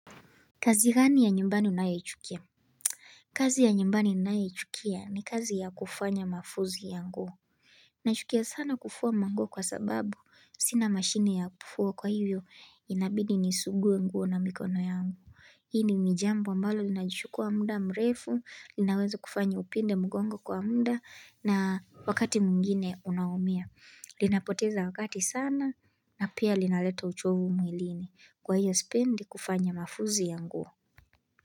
Kazi gani ya nyumbani unayochukia? Kazi ya nyumbani ninayochukia ni kazi ya kufanya mafuzi ya nguo. Nachukia sana kufua manguo kwa sababu sina mashini ya kufua kwa hivyo inabidi nisugue nguo na mikono yangu. Hii ni jambo ambalo lina chukua muda mrefu, linaweza kufanya upinde mgongo kwa muda na wakati mwngine unaumia. Linapoteza wakati sana na pia linaleta uchovu mwilini kwa hiyo sipendi kufanya mafuzi ya nguo.